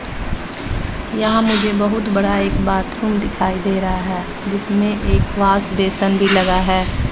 यहां मुझे बहुत बड़ा एक बाथरूम दिखाई दे रहा है जिसमें एक वाश बेसन भी लगा है।